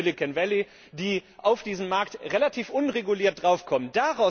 aus dem Silicon Valley, die auf diesen Markt relativ unreguliert draufkommen.